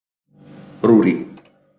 Rúrí